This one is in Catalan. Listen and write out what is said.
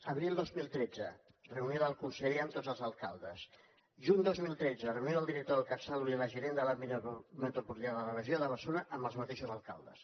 abril dos mil tretze reunió del conseller amb tots els alcaldes juny dos mil tretze reunió del director del catsalut i la gerent de l’àrea metropolitana de la regió de barcelona amb els mateixos alcaldes